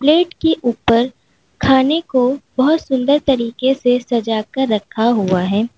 Plate के ऊपर खाने को बहोत सुंदर तरीके से सजा के रखा हुआ है।